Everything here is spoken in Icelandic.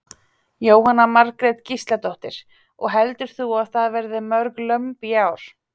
Jóhanna Margrét Gísladóttir: Og heldur þú að það verði mörg lömb í ár?